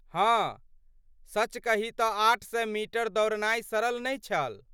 हाँ, सच कही तँ आठ सए मीटर दौड़नाय सरल नहि छल।